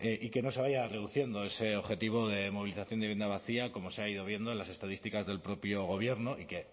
y que no se vaya reduciendo ese objetivo de movilización de vivienda vacía como se ha ido viendo en las estadísticas del propio gobierno y que